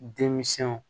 Denmisɛnw